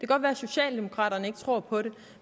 godt være socialdemokraterne ikke tror på det